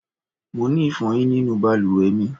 Mo ni ifoyin ninu baluwe mi